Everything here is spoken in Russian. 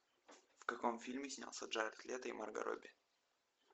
в каком фильме снялся джаред лето и марго робби